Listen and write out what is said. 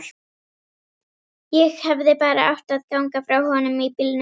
Ég hefði bara átt að ganga frá honum í bílnum.